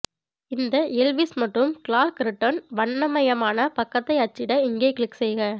இந்த எல்விஸ் மற்றும் Clark return வண்ணமயமான பக்கத்தை அச்சிட இங்கே கிளிக் செய்க